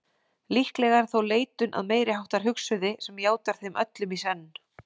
Líklega er þó leitun að meiriháttar hugsuði sem játar þeim öllum í senn.